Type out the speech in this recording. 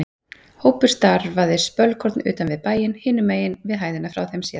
Hópur starfaði spölkorn utan við bæinn, hinum megin við hæðina frá þeim séð.